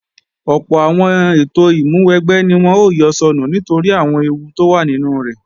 Ọ̀pọ̀ àwọn ètò ìmúwẹgbẹ́ ni wọ́n ó yọ sọnù nítorí àwọn ewú tó wà nínú rẹ̀